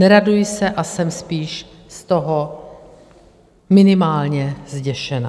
Neraduji se a jsem spíš z toho minimálně zděšená.